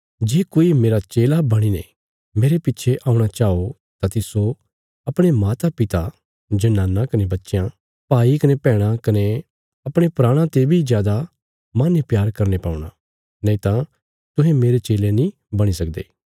जे कोई मेरा चेला बणीने मेरे पिच्छे औणा चाओ तां तिस्सो अपणे मातापिता जनाना कने बच्चयां भाई कने बैहणां कने अपणे प्राणा ते बी जादा माहने प्यार करने पौणा नैईता तुहें मेरे चेले नीं बणी सकदे